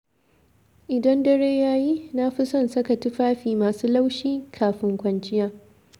Idan dare ya yi, na fi son saka tufafi masu laushi, kafin kwanciya